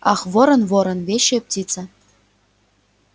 ах ворон ворон вещая птица